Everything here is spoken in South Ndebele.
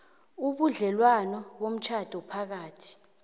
ubudlelwano bomtjhado phakathi